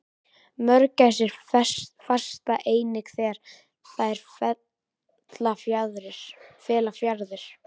mörgæsir fasta einnig þegar þær fella fjaðrir